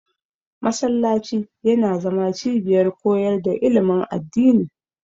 Masallaci yana zama cibiyar koyar da ilimin addini.